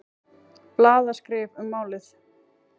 Blaðaskrif um málið.